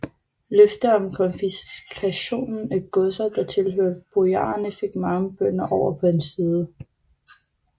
Løfter om konfiskation af godser der tilhørte bojarerne fik mange bønder over på hans side